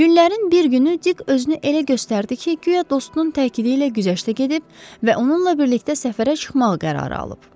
Günlərin bir günü Dik özünü elə göstərdi ki, güya dostunun təkidi ilə güzəştə gedib və onunla birlikdə səfərə çıxmaq qərarı alıb.